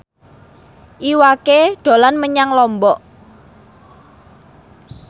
Iwa K dolan menyang Lombok